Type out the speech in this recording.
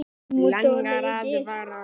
Langar að fara.